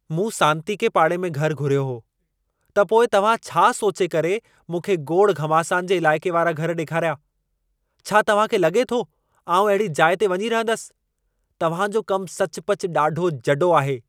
मूं सांतीके पाड़े में घर घुरियो हो, त पोइ तव्हां छा सोचे करे मूंखे गोड़-घमासान जे इलाइक़े वारा घर ॾेखारिया? छा तव्हां खे लॻे थो, आउं अहिड़ी जाइ ते वञी रहंदसि? तव्हां जो कम सचपचु ॾाढो जॾो आहे।